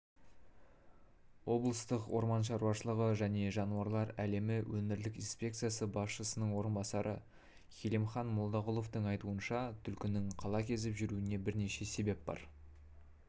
облыстық орман шаруашылығы және жануарлар әлемі өңірлік инспекциясы басшысының орынбасары хилимхан молдағұловтың айтуынша түлкінің қала кезіп жүруіне бірнеше себеп бар